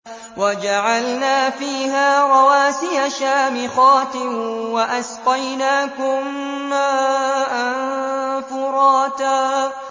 وَجَعَلْنَا فِيهَا رَوَاسِيَ شَامِخَاتٍ وَأَسْقَيْنَاكُم مَّاءً فُرَاتًا